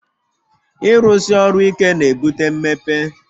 Ịrụsi ọrụ ike na-ebute mmepe